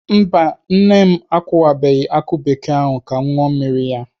Mba nne m akụwabeghị akụ bekee ahụ ka m ṅụọ mmiri ya.